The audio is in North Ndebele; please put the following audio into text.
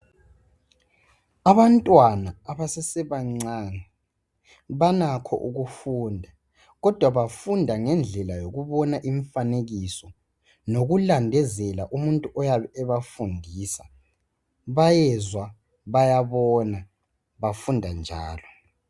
Abantwana abasesebancane banakho ukufunda kodwa bafunda ngendlela lemifanekiso lokulandezela umuntu oyabe ebafundisa bayezwa bayabona bafunda njalo.